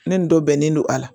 Ne nin dɔ bɛnnen don a la